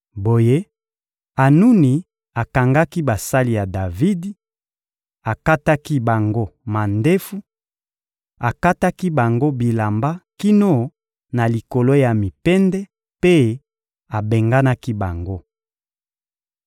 Boye, Anuni akangaki basali ya Davidi, akataki bango mandefu, akataki bango bilamba kino na likolo ya mipende mpe abenganaki bango.